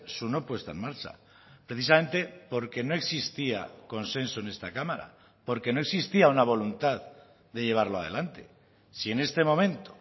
su no puesta en marcha precisamente porque no existía consenso en esta cámara porque no existía una voluntad de llevarlo adelante si en este momento